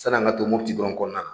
Sanni an ka to Mopiti dɔrɔn kɔnɔna na